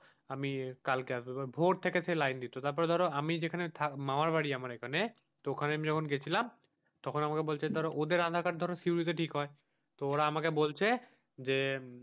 আমি কালকে আসব ভোর থেকে সেই লাইন দিতে হতো তারপর ধরো আমি যেখানে থা মামার বাড়ি আমার এখানে তো ওখানে আমি যখন গেছিলাম তখন আমাকে বলছে ধরো ওদের আধার কার্ড ধরো সিউড়িতে ঠিক হয়। তো ওরা আমাকে বলছে যে,